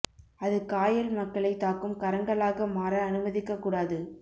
அது காயல் மக்களை தாக்கும் கரங்களாக மாற அனுமதிக்க கூடாது